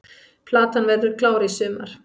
Platan verður klár í sumar